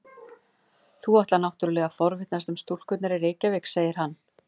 Þú ætlar náttúrlega að forvitnast um stúlkurnar í Reykjavík, segir hann.